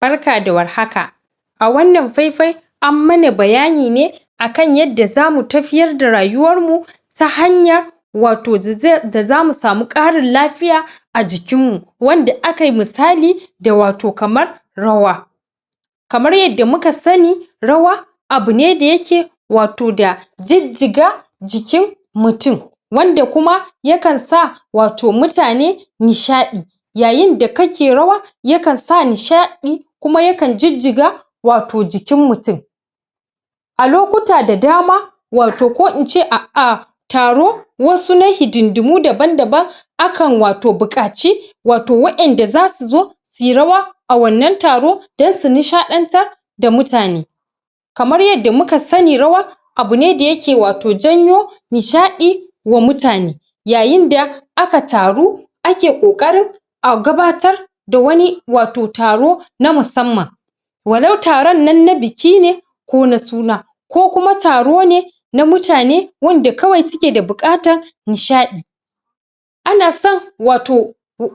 barka da war haka a wannan fai fai an mana bayani ne akan yadda zamu tafityar da rayuwan mu ta hanya wato da zamu samu karin lafiya a jikin mu wanda akayi misali da wato kamar rawa kamar yadda muka sani rawa abune da yake wato da jijjiga jikin mutum wanda kuma yakan sa wato mutane nishadi yayin da kake rawa ya kan sa nishadi kuma yakan jijjiga jikin mutum a lokuta da dama wato ko ince a a taro wasu na hidinɗimu daban daban akan wato buƙaci wato wa'en da zasu zo suyi rawa a wannan taro dan su nishaɗantar da mutane kamar yadda muka sani rawa abune da yake wato janyo nishaɗi wa mutane yayin da aka taru ake kokarin a gabatar da wani wato taro na musamman wa lau taron nan na biki ne ko na suna ko kuma taro ne na mutane wanda kawai suke da buƙatan nishaɗi ana son wato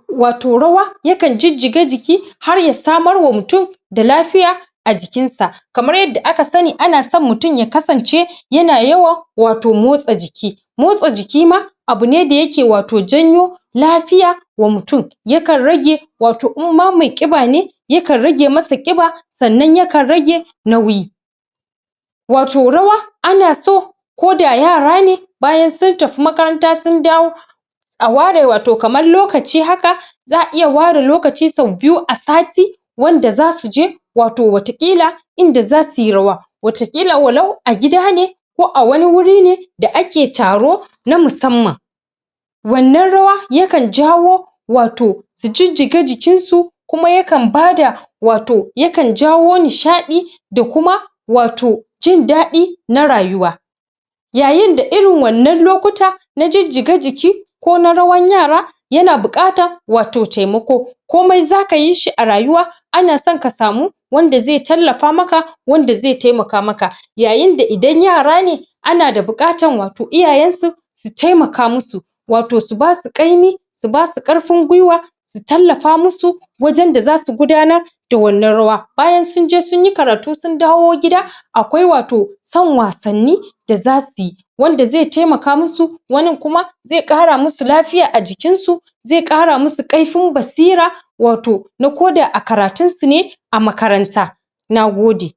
wato rawa yakan jijjiga jiki har ya samar wa mutum da lafiya a jikin sa kamar yadda aka sani ana son mutum ya kasance yana yawan motsa jiki motsa jiki ma abune da yake wato janyo lafiya wa mutum ya kan rage in ma mai kiɓa ne yakan rage masa kiɓa sannan yakan rage nauyi wato rawa ana so ko da yara ne bayan sun tafi makaranta sun dawo a ware wato kaman lokaci haka za'a iya ware lokaci sau biyu a sati wanda zasuje waton wata ƙila in da zasuyi rawa wata ƙila wa lau a gida ne ko a wani wuri ne in da ake taro na musamman wannan rawa yakan jawo wato su jijjiga jikin su kuma yakan bada wato yakan jawo nishaɗi da kuma wato jindadi na rayuwa yayin da irin wannan lokuta na jijjiga jiki ko na rawan yara yana bukata wato taimako komai zaka yi shi a rayuwa ana son ka samu wanda zai tallafa maka wanda zai taimaka maka yayin da idan yara ne ana da buƙatan wato iyayen su su taimaka musu wato su basu ƙaini su basu karfin giwa su tallafa musu wajan da zasu gudanar da wannan rawa bayan sunje sunyi karatu sun dawo gida akwai wato son wasanni da zasu yi wanda zai taimaka musu wanin kuma zai kara musu lafiya a jikin su zai kara musu karfin basira wato na koda a karatun su ne a makaranta nagode